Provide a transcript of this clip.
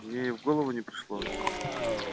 мне и в голову не пришло